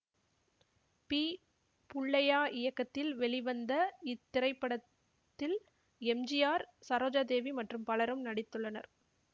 B புள்ளையா இயக்கத்தில் வெளிவந்த இத்திரைப்படத்தில் எம் ஜி ஆர் சரோஜாதேவி மற்றும் பலரும் நடித்துள்ளனர்